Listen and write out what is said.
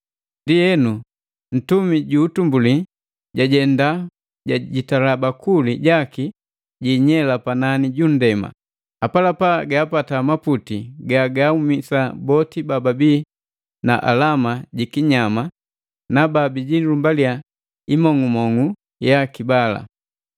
Ndienu, ntumi ju utumbuli jajenda jajitala bakuli jaki jiinyela panani ju nndema, apalapa gaapata maputi gagaaumisa boti baabii na alama ji kinyama na babijilumbaliya imong'umong'umu yaki bala.